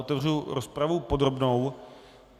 Otevřu rozpravu podrobnou.